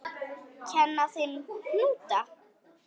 Kenna þeim hnúta?